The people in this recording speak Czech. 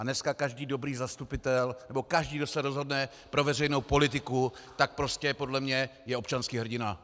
A dneska každý dobrý zastupitel nebo každý, kdo se rozhodne pro veřejnou politiku, tak prostě podle mě je občanský hrdina.